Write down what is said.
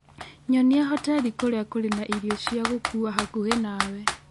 nyonia hoteli kũrĩa kũrĩ na irio cia gũkuua hakuhĩ nawe